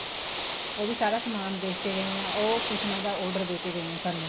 ਉਹ ਵੀ ਸਾਰਾ ਸਮਾਨ ਦੇਖਕੇ ਗਏ ਹੈ ਉਹ ਕੁਸ਼ਨਾ ਦਾ order ਦੇਕੇ ਗਏ ਏ ਸਾਨੂੰ